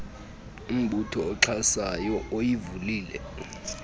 mbutho uxhasayo uyivulile